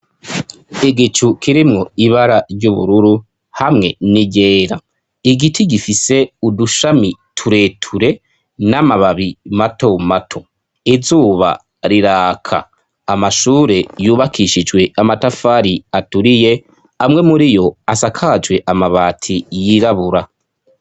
igicu kirimwo ibara ry'ubururu hamwe n'iryera igiti gifise udushami tureture n'amababi mato mato izuba riraka amashure yubakishijwe amatafari aturiye amwe muriyo asakajwe amabati yirabura